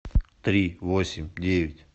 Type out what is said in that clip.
три восемь девять